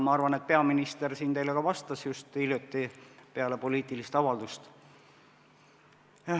Ma arvan, et peaminister teile siin sellele ka vastas just hiljuti, peale poliitilist avaldust.